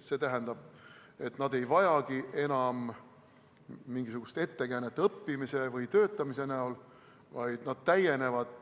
See tähendab, et ei vajatagi enam õppimise või töötamise ettekäänet, vaid need kogukonnad täienevad